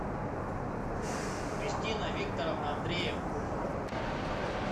кристина викторовна андреева